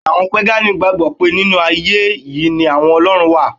Bẹ́ẹ̀ni, àwọn pégànì gbàgbọ́ pé nínú ayé è yí ni àwọn Ọlọ́run wà